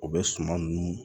U bɛ suman ninnu